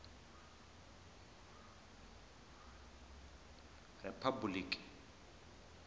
riphabuliki